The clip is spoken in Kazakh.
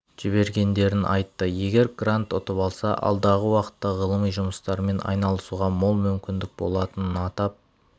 жібергендерін айтты егер грант ұтып алса алдағы уақытта ғылыми жұмыстармен айналысуға мол мүмкіндік болатынын атап